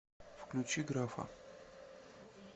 включи графа